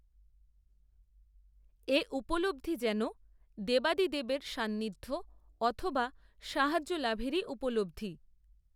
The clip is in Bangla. এ উপলব্ধি যেন, দেবাদিদেবের সান্নিধ্য, অথবা, সাহায্য লাভেরই উপলব্ধি